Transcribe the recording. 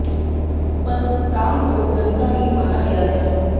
पर दान तो धन का ही माना गया है